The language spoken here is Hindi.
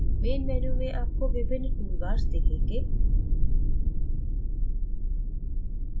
main menu में आपको विभिन्न toolbars दिखेंगे